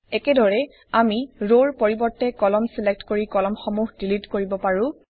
একেদৰেই আমি ৰৰ পৰিবৰ্তে কলাম ছিলক্ট কৰি কলাম সমূহ ডিলিট কৰিব পাৰোঁ